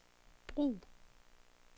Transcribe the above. brug